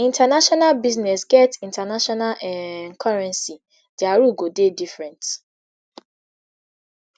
international business get international um currency dia rule go dey different